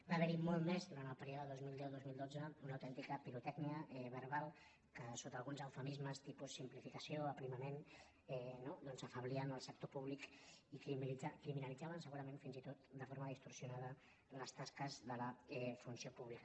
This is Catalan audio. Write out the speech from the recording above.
va ha·ver·hi molt més durant el període dos mil deu·dos mil dotze una au·tèntica pirotècnia verbal que sota alguns eufemismes tipus simplificació aprimament no afeblien el sector públic i criminalitzaven segurament fins i tot de forma distorsionada les tasques de la funció públi·ca